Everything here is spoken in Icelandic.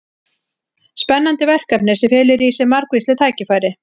Spennandi verkefni sem felur í sér margvísleg tækifæri.